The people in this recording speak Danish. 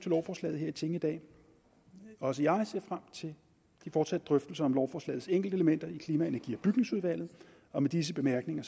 lovforslaget her i tinget i dag også jeg ser frem til de fortsatte drøftelser om lovforslagets enkeltelementer i klima energi og bygningsudvalget og med disse bemærkninger